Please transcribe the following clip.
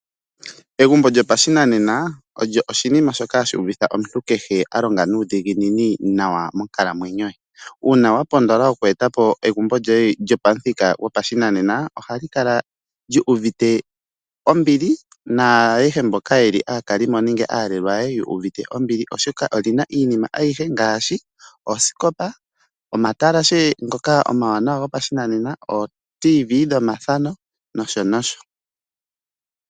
Egumbo lyopashinanena olyo oshinima shoka hashi uvitha omuntu kehe alonga nuudhiginini nawa monkalamwenyo ye. Uuna wapondola oku etapo egumbo lyoye lyo pamuthika gopashinanena ohali kala lyu uvite ombili naayehe mboka yeli aakalimo nenge aalelwa yu uvite ombili oshoka oli na iinima ayihe ngaashi oosikopa, omatalashe ngoka omawanawa gopashinanena, ooRadio dhomuzizimba nosho nosho.